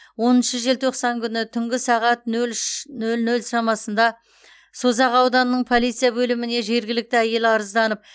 оныншы желтоқсан күні түнгі сағат нөл үш нөл нөл шамасында созақ ауданының полиция бөліміне жергілікті әйел арызданып